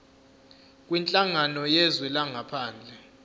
kwinhlangano yezwe langaphandle